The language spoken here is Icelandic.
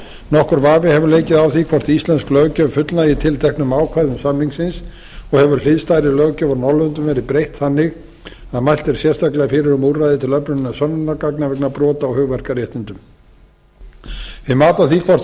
nokkur vafi hefur leikið á því hvort íslensk löggjöf fullnægi tilteknum ákvæðum samningsins og hefur hliðstæðri löggjöf á norðurlöndum verið breytt þannig að mælt er sérstaklega fyrir um úrræði til öflunar sönnunargagna vegna brota á hugverkaréttindum við mat á því hvort þörf